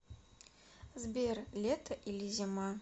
сбер лето или зима